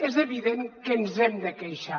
és evident que ens hem de queixar